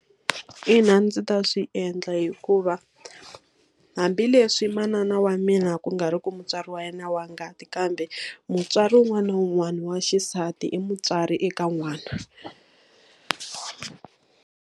Ina ndzi ta swi endla hikuva, hambileswi manana wa mina ku nga ri ku mutswari wa yena wa ngati kambe mutswari wun'wana na wun'wana wa xisati i mutswari eka n'wana.